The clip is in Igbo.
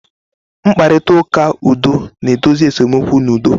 Mkparịta ụka udo na-edozi esemokwu n'udo.